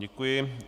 Děkuji.